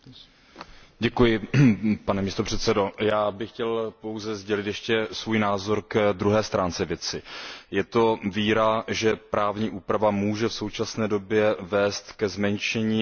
Pane předsedající, já bych chtěl pouze sdělit ještě svůj názor ke druhé stránce věci. Je to víra, že právní úprava může v současné době vést ke zmenšení rizik na pracovišti.